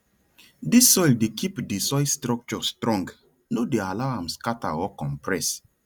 dis soil dey keep di soil structure strong no dey allow am scatter or compress